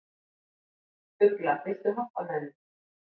Ugla, viltu hoppa með mér?